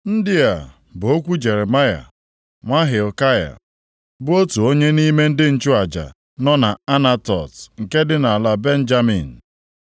Ndị a bụ okwu Jeremaya nwa Hilkaya, bụ otu onye nʼime ndị nchụaja, nọ nʼAnatot nke dị nʼala Benjamin.